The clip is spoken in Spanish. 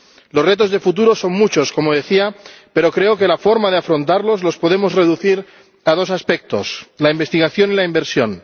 Los retos de futuro son muchos ―como decía―, pero creo que las formas de afrontarlos las podemos reducir a dos aspectos la investigación y la inversión.